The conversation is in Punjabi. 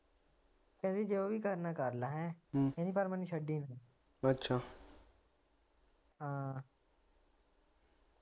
ਕਹਿੰਦੀ ਜੋ ਵੀ ਕਰਨਾ ਕਰ ਲੈ ਹੈ ਕਹਿੰਦੀ ਪਰ ਮੈਨੂੰ ਛੱਡੀ ਨਾ ਹਾਂ।